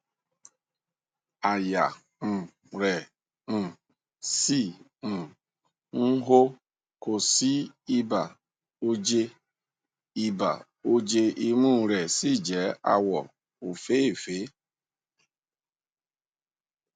àyà um rẹ um ṣì um ń hó kò sí ibà oje ibà oje imú rẹ sì jẹ àwọ òféèfé